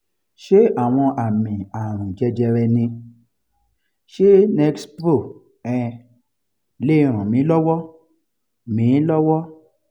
ṣé àwọn àmì àrùn jẹjẹrẹ ni? ṣé nexpro um lè ràn mí lọ́wọ́? mí lọ́wọ́?